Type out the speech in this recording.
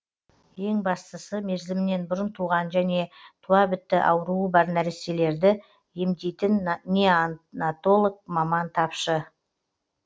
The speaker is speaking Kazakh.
ең бастысы мерзімінен бұрын туған және туабітті ауруы бар нәрестелерді емдейтін неонатолог маман тапшы